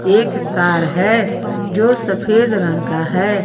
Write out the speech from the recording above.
एक कार है जो सफेद रंग का है।